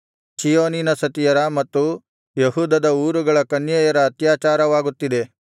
ಚೀಯೋನಿನ ಸತಿಯರ ಮತ್ತು ಯೆಹೂದದ ಊರುಗಳ ಕನ್ಯೆಯರ ಅತ್ಯಾಚಾರವಾಗುತ್ತಿದೆ